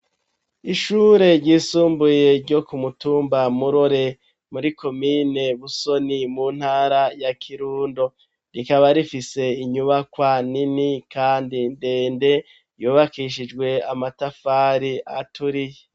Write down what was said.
Ishure ryisumbuye ryo ku mutumba Murore, muri komine Busoni, mu ntara ya Kirundo. Rikaba rifise inyubakwa nini kandi ndende yubakishijwe amatafari aturiye.